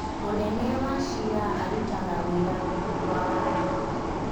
Mũnene wa ciira arũtaga wĩra rũngũ rwa watho